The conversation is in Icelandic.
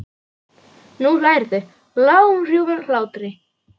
Nú hlærðu, lágum hrjúfum hlátri.